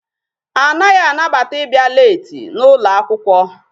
Anaghị anabata ịbịa leeti n'ụlọ akwụkwọ.